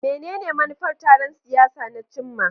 Menene manufar taron siyasa na cimma?